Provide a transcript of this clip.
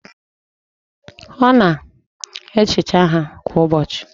Ọ na-ehicha ha kwa ụbọchị?